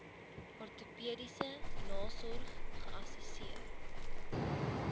ortopediese nasorg geassesseer